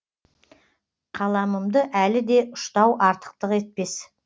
қаламымды әліде ұштау артықтық етпес